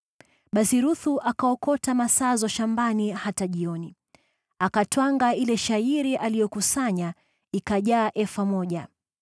Basi Ruthu akaokota masazo shambani hata jioni. Akatwanga ile shayiri aliyokusanya, ikajaa efa moja.